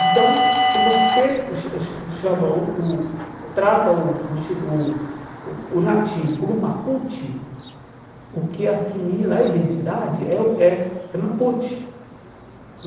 Então, se você cha cha chama o o trata o o chi o o o nativo como Mapuche, o que assimila a identidade é o é é Mapuche.